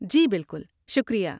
جی بالکل، شکریہ۔